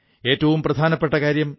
ഏറ്റവും പ്രധാനകാര്യം ഡോ